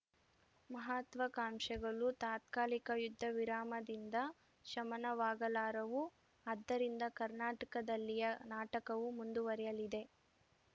ಮಹತ್ವಾಕಾಂಕ್ಷೆಗಳು ತಾತ್ಕಾಲಿಕ ಯುದ್ಧವಿರಾಮದಿಂದ ಶಮನವಾಗಲಾರವು ಆದ್ದರಿಂದ ಕರ್ನಾಟಕದಲ್ಲಿಯ ನಾಟಕವು ಮುಂದುವರಿಯಲಿದೆ